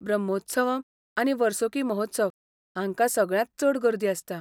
ब्रह्मोत्सवम् आनी वर्सुकी महोत्सव हांकां सगळ्यांत चड गर्दी आसता.